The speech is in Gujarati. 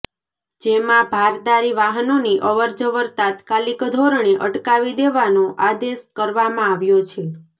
જેમાં ભારદારી વાહનોની અવરજવર તાત્કાલિક ધોરણે અટકાવી દેવાનો આદેશ કરવામાં આવ્યો છે